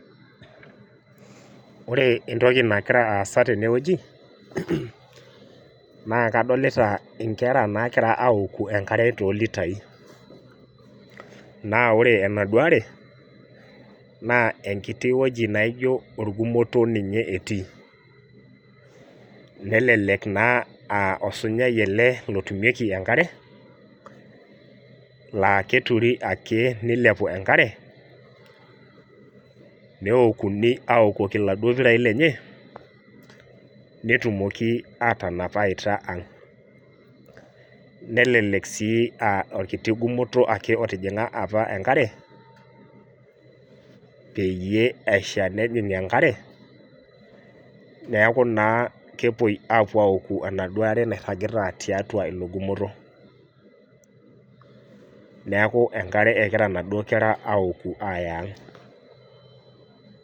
Ore entoki nagira aasa tenewueji, nakadolta nkera nagira aoku the nkare tolitai na ore enaduo aare na enkiti wueji naijo orgumoto etii nelelek aa osunyae ele otumieki enkare la keturubake nilepu enkare neokuni aokoki laduo pirai lenye netumoki atanap awaita aang nelelek si a orkitok gumoto ake otijinga enkare peyie eaku na kepuoi aoku ejaduo aar nairagita tiatua ilo gumoto neaku enkare egira aouku aya ang'.